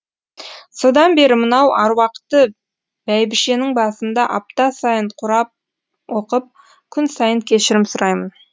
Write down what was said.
содан бері мынау аруақты бәйбішенің басында апта сайын құрап оқып күн сайын кешірім сұраймын